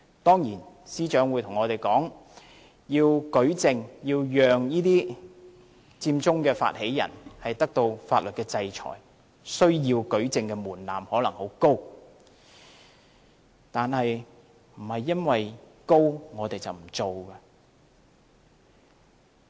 當然，司長會告訴我們，要讓這些佔中發起人接受法律制裁，舉證的門檻可能很高，但不能因為門檻高便不做。